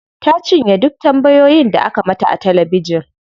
Ta cinye duk tambayoyin da aka mata a talabijin.